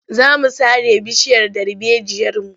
Za mu sare bishiyar darbejiyarmu.